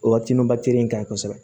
O ka timi in kan ɲi kosɛbɛ